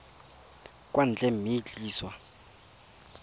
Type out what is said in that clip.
kwa ntle mme e tliswa